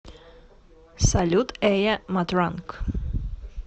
салют эйа матранг